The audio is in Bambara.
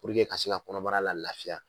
Purke ka se ka kɔnɔbara la lafiya.